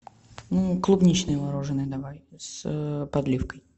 клубничное мороженое давай с подливкой